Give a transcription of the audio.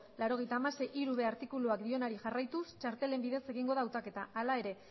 laurogeita hamasei puntu hiru artikuluak dionari jarraituz txartelen bidez egingo da hautaketa hala ere